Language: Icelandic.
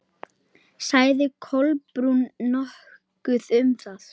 Sagði Kolbrún nokkuð um það?